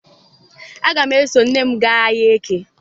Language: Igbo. Aga m eso nne m gaa ahịa Eke.